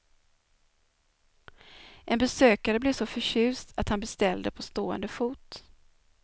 En besökare blev så förtjust att han beställde på stående fot.